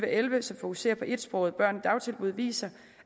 og elleve som fokuserer på etsprogede børn i dagtilbud viser